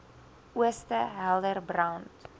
ooste helder brand